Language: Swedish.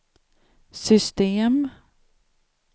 system